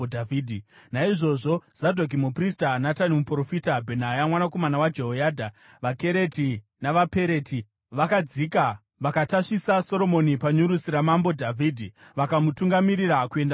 Naizvozvo Zadhoki muprista, Natani muprofita, Bhenaya mwanakomana waJehoyadha, vaKereti navaPereti vakadzika, vakatasvisa Soromoni panyurusi raMambo Dhavhidhi, vakamutungamirira kuenda kuGihoni.